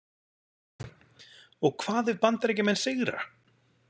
Og hvað ef Bandaríkjamenn sigra?